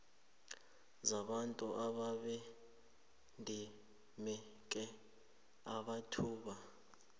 zabantu ababedimeke amathuba